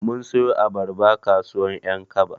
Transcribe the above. Mun siyo abarba kasuwar ƴankaba.